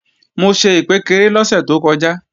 Mo ṣe ìkpékeré lọ́sẹ̀ tó kọjá